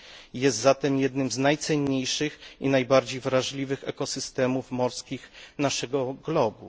i jest zatem jednym z najcenniejszych i najbardziej wrażliwych ekosystemów morskich naszego globu.